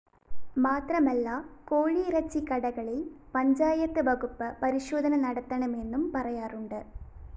മാത്രമല്ല കോഴി ഇറച്ചിക്കടകളില്‍ പഞ്ചായത്ത് വകുപ്പ് പരിശോധന നടത്തണമെന്നും പറയാറുണ്ട്